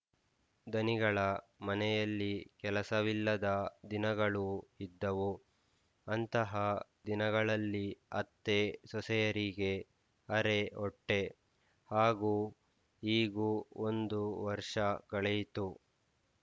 ಧನಿಗಳ ಮನೆಯಲ್ಲಿ ಕೆಲಸವಿಲ್ಲದ ದಿನಗಳೂ ಇದ್ದವು ಅಂತಹ ದಿನಗಳಲ್ಲಿ ಅತ್ತೆ ಸೊಸೆಯರಿಗೆ ಅರೆ ಹೊಟ್ಟೆ ಹಾಗೂ ಹೀಗೂ ಒಂದು ವರ್ಷ ಕಳೆಯಿತು